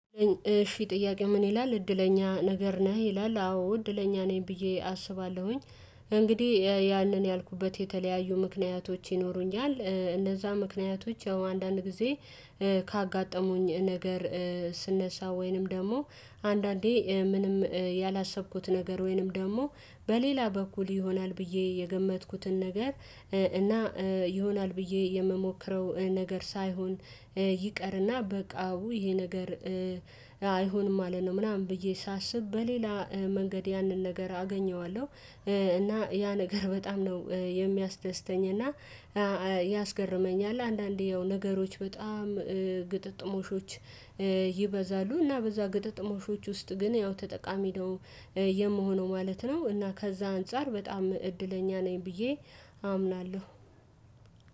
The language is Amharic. እሺ ጥያቄ ምን ይላል እድለኛ ነገር ነህ ይላል አዎ እድለኛ ነኝ ብዬ አስባለሁኝ። እንግዲህ ያንን ያልኩበት የተለያዩ ምክንያቶች ይኖሩኛል እነዛ ምክንያቶች አንዳንድ ጊዜ ካጋጠሙኝ ነገር ስነሳ ወይንም ደግሞ አንዳንዴ ምንም ያላሰብኩት ነገር ወይንም ደግሞ በሌላ በኩል ይሆናል ብዬ የገመትኩትን ነገር። እና ይሆናል ብዬ የምሞክረው ነገር ሳይሆን ይቀር እና በቃ ውይ ይሄ ነገር አይሆንም ማለት ነው። ምናምን ብዬ ሳስብ በሌላ መንገድ ያንን ነገር አገኘዋለሁ። እና ያ ነገር በጣም ነው የሚያስደስተኝ እና ያስገርመኛል። አንዳንዴ ያው ነገሮች በጣም ግጥምጥምሾች ይበዛሉ እና በዛ ግጥምጥምሾች ውስጥ ግን ያው ተጠቃሚ ነው የምሆነው ማለት ነው። እና ከዛ አንፃር በጣም እድለኛ ነኝ ብዬ አምናለሁ።